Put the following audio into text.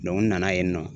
n nana yen nɔ